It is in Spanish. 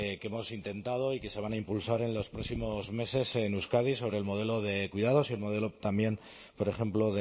que hemos intentado y que se van a impulsar en los próximos meses en euskadi sobre el modelo de cuidados y el modelo también por ejemplo